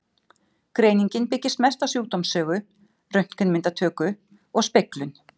Greiningin byggist mest á sjúkdómssögu, röntgenmyndatöku og speglun.